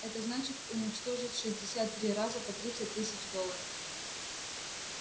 это значит уничтожить шестьдесят три раза по тридцать тысяч долларов